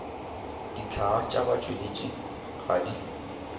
dihlaa tša batšweletši ga di